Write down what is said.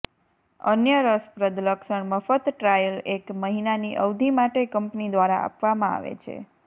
અન્ય રસપ્રદ લક્ષણ મફત ટ્રાયલ એક મહિનાની અવધિ માટે કંપની દ્વારા આપવામાં આવે છે